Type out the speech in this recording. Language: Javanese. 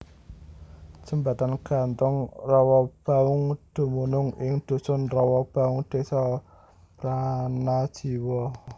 Jembatan gantung Rowobaung dumunung ing Dusun Rowobaung Desa Pranajiwa